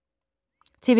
TV 2